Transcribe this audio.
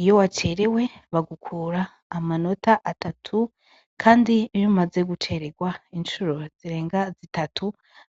iyo wacerewe bagukura amanota atatu kandi iyo umaze guceregwa incuro zirenga zitatu